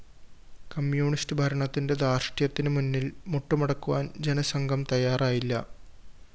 communist ഭരണത്തിന്റെ ധാര്‍ഷ്ട്യത്തിന് മുന്നില്‍ മുട്ടുമടക്കുവാന്‍ ജനസംഘം തയ്യാറായില്ല